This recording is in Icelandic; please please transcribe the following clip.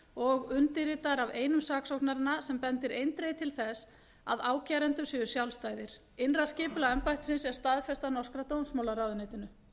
og undirritaðar af einum saksóknaranna sem bendir eindregið til þess að ákærendur séu sjálfstæðir innra skipulag embættisins er staðfest af norska dómsmálaráðuneytinu